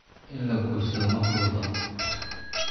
In la guursado ma fududa